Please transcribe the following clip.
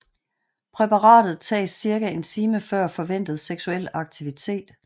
Præparatet tages cirka en time før forventet seksuel aktivitet